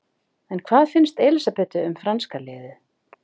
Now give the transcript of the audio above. En hvað finnst Elísabetu um franska liðið?